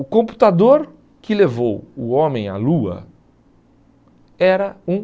O computador que levou o homem à lua era um